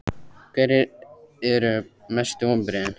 Hverjir eru mestu vonbrigðin?